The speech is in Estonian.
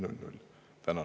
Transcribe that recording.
Tänan!